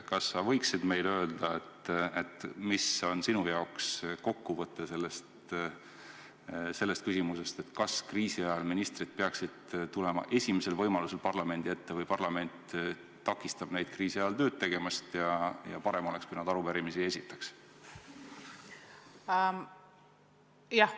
Kas sa võiksid meile öelda, mis on sinu jaoks kokkuvõte sellest küsimusest, kas kriisi ajal peaksid ministrid tulema esimesel võimalusel parlamendi ette või parlament pigem takistab neid kriisi ajal tööd tegemast ja oleks parem, kui nad arupärimisi ei esitaks?